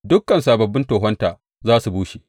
Dukan sababbin tohonta za su bushe.